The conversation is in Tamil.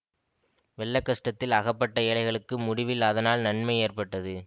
வெள்ள கஷ்டத்தில் அகப்பட்ட ஏழைகளுக்கு முடிவில் அதனால் நன்மை ஏற்பட்டது